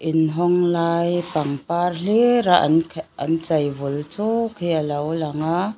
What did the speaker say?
in hawng lai pangpar hlir a an an chei vul chuk hi alo lang a.